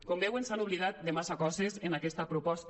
com veuen s’han oblidat de masses coses en aquesta proposta